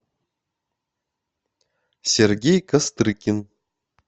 сергей кострыкин